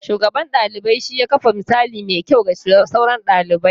Shugaban ɗalibai shi ya kafa misali mai kyau ga sauran ɗalibi.